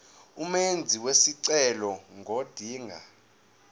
umenzi wesicelo ngodinga